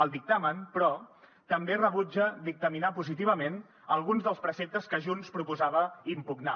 el dictamen però també rebutja dictaminar positivament alguns dels preceptes que junts proposava impugnar